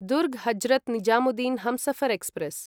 Durg Hazrat Nizamuddin Humsafar express